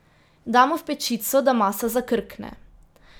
Damo v pečico, da masa zakrkne.